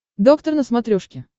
доктор на смотрешке